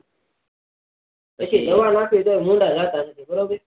પછી દવા નાખી તો પણ ભૂંડા જતા નહી બરોબર